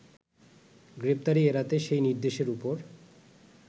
গ্রেপ্তারি এড়াতে সেই নির্দেশের ওপর